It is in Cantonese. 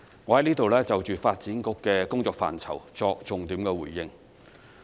我在此就着發展局的工作範疇作重點回應。